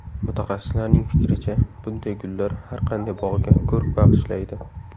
Mutaxassislarning fikricha, bunday gullar har qanday bog‘ga ko‘rk bag‘ishlaydi.